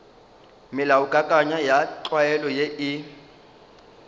melaokakanywa ya tlwaelo ye e